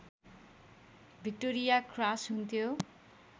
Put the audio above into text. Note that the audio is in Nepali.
भिक्टोरिया क्रास हुन्थ्यो